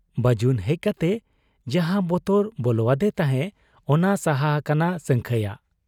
ᱵᱟᱹᱡᱩᱱ ᱦᱮᱡ ᱠᱟᱛᱮ ᱡᱟᱦᱟᱸ ᱵᱚᱛᱚᱨ ᱵᱚᱞᱚᱣᱟᱫᱮ ᱛᱟᱦᱮᱸᱫ, ᱚᱱᱟ ᱥᱟᱦᱟ ᱟᱠᱟᱱᱟ ᱥᱟᱹᱝᱠᱷᱟᱹᱭᱟᱜ ᱾